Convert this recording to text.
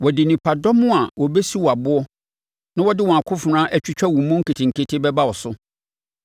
Wɔde nnipadɔm a wɔbɛsi wo aboɔ na wɔde wɔn akofena atwitwa wo mu nketenkete bɛba wo so.